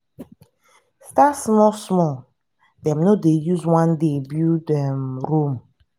start small small dem no use one day build um rome